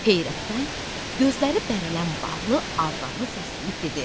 Heyrətdən gözləri bərələn varlı arvadını səsləyib dedi: